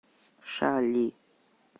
шали